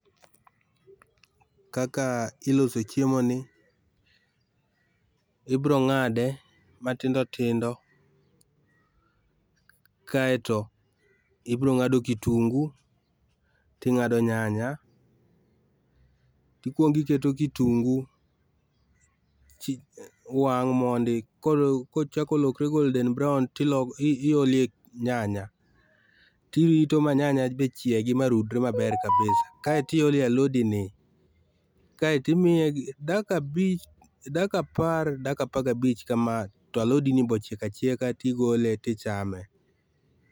Kaka iloso chiemo ni, ibiro ng'ade matindo tindo, kaeto ibiro ng'ado kitungu ting'ado nyanya, tikuongo iketo kitungu chi wang' mondi kol kochako lokre golden brown tiolee nyanya tirito ma nyanya be chiegi marudre maber kabisa ,kae to iolo e alodini, kaeto imiye dakika abich, dakika apar, dakika apar gabich kamaa talodini be ochiek achieka tigole tichame.